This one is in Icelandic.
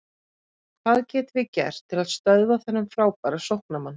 Hvað getum við gert til að stöðva þennan frábæra sóknarmann?